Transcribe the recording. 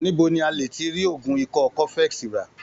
Níbo ni a lè ti rí oògùn ikọ́ cofex rà?